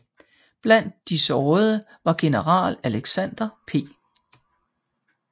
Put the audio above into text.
Blandt de sårede var general Alexander P